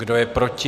Kdo je proti?